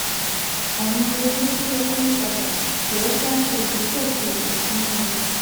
"àìmọye owó tó wọlé yí padà kò yẹ kí a ṣe ìgbésẹ̀ fi ètò sínú ewu"